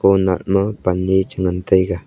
oh nah no pan ne chi ngan tega.